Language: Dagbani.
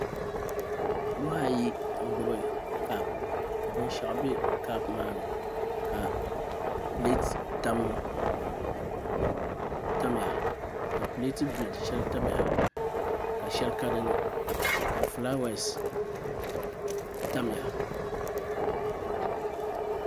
Nuhi ayi n gbubi kaap ka binshaɣu bɛ kaap maani ka pileeti bili shɛli tamya ka shɛli ka dinni ka fulaawaasi tamya